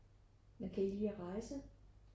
Men kan I lide at rejse?